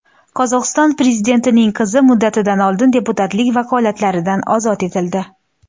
Qozog‘iston prezidentining qizi muddatidan oldin deputatlik vakolatlaridan ozod etildi.